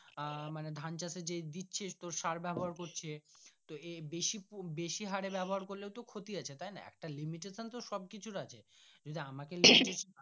আহ মানে ধান চাষ এ দিচ্ছে সার ব্যবহার করছে তো এই বেশি বেশি হরে ব্যবহার করলেও তো ক্ষতি আছে তাই না একটা limitation তো সবকিছুর আছে যদি আমাকে